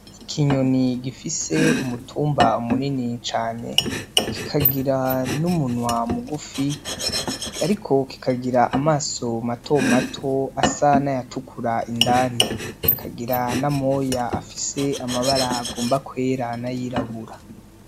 Ikinyoni gifise umutumba munini cane, kikagira n'umunwa mugufi, ariko kikagira amaso matomato asa n'ayatukura indani, kikagira na moya afise amabara agomba kwera n'ayirabura.